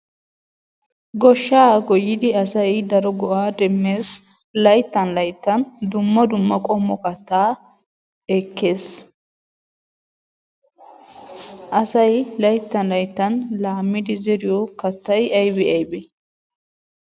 Goshshaa goyidi asay daro go'aa demmees. Layttan layttan dumma dumma kattaa ekkees. Asay layttan laammidi zeriyo kattay aybee? aybee?